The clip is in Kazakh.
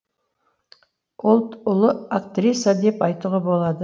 ол ұлы актриса деп айтуға болады